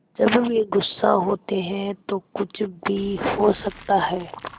जब वे गुस्सा होते हैं तो कुछ भी हो सकता है